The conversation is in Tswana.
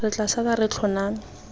re tla sala re tlhoname